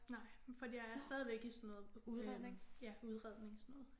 Nej fordi jeg er stadigvæk i sådan noget øh ja udredning sådan noget